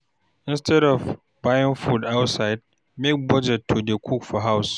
Instead of buying food outside make budget to dey cook for house